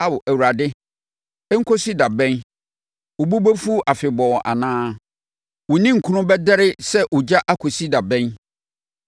Ao Awurade, ɛnkɔsi da bɛn? Wo bo bɛfu afebɔɔ anaa? Wo ninkunu bɛdɛre sɛ ogya akɔsi da bɛn?